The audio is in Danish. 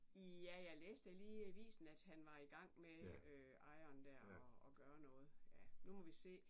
Ja jeg læste da lige i avisen at han var i gang med ejeren der at gøre noget ja nu må vi se